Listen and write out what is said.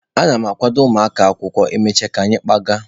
Ana m akwado ụmụaka akwụkwọ, e mechaa ka anyị kpaaga